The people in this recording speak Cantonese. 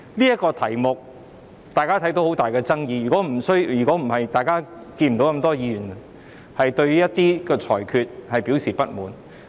大家也看到，這議題存在很大的爭議，如果不是，大家也不會看到那麼多議員對於一些裁決表示不滿。